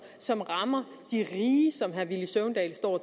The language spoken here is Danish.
som rammer de rige som herre villy søvndal står og